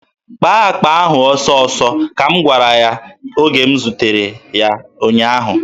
"Kpaa akpa ahụ ọsọọsọ," ka m gwara ya oge m zutere ya ụnyaahụ.